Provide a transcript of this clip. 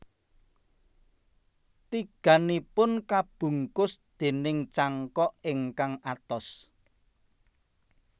Tigannipun kabungkus déning cangkok ingkang atos